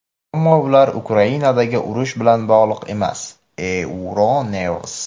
ammo ular Ukrainadagi urush bilan bog‘liq emas – "Euronews".